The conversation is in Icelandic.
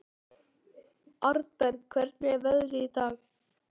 Arnberg, hvernig er veðrið í dag?